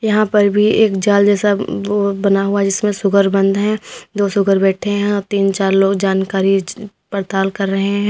यहां पर भी एक जाल जैसा वो बना हुआ जिसमें शुगर बंद हैं दो शुगर बैठे हैं और तीन चार लोग जानकारी पड़ताल कर रहे हैं।